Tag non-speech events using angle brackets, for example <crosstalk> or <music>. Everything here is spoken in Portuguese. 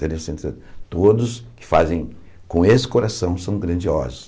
<unintelligible> Todos que fazem com esse coração são grandiosos.